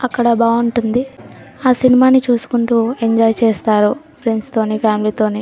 అక్కడ బాగుంటుంది . అ సినిమా ని చూసుకుంటూ ఎంజాయ్ చేస్తారు ఫ్రెండ్స్ తోని ఫ్యామిలీ తోని .